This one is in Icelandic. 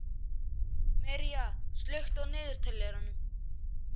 Mirja, slökktu á niðurteljaranum.